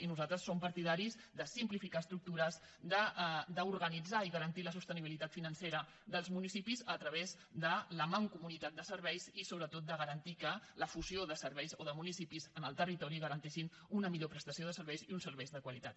i nosaltres som partidaris de simplificar estructures d’organitzar i garantir la sostenibilitat financera dels municipis a través de la mancomunitat de serveis i sobretot de garantir que la fusió de serveis o de municipis en el territori garanteixin una millor prestació de serveis i uns serveis de qualitat